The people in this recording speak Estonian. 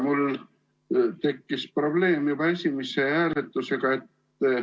Mul tekkis probleem juba esimese hääletusega.